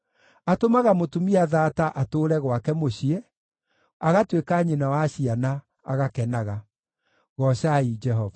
Atũmaga mũtumia thaata atũũre gwake mũciĩ, agatuĩka nyina wa ciana, agakenaga. Goocai Jehova.